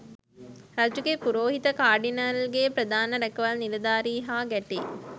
රජුගේ පුරෝහිත කාඩිනල් ගේ ප්‍රධාන රැකවල් නිලධාරී හා ගැටෙයි